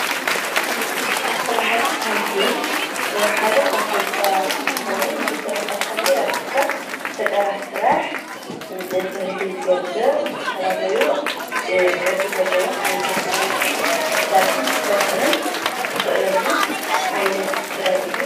ስራሕቲ ታንትየል ሓደ ካፍቶም ጥበባት እንትኸውን ብስራሕ ቲ ታንትየል አቢልካ ፈጠራ ስራሕ ንክህሉ ዝገብር ዝተፈላለዩ ቅርፂ ዘሎዎም ዓይነታት ክዳውንቲ ክትሰርሕን ክትፈጥርን እተኽእለሉ ዓይነት ጥበብ እዩ።